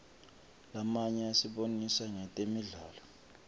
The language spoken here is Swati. lamanye asibonisa ngetemidlalo